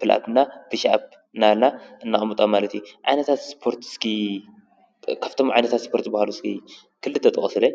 ።ፕልኣፕ እና ኩሽኣብ እናበልና ነቅምጦ ማለት እዩ ። ዓይነታት እስፖርት እስኪ ካብቶም ዓይነታት እስፖር ዝበሃሉ እስኪ ክልተ ጥቀሱለይ?